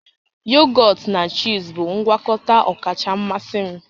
Yogọt na chiizi bụ ngwakọta ọkacha mmasị m